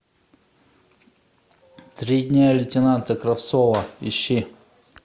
три дня лейтенанта кравцова ищи